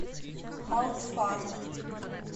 алтфарм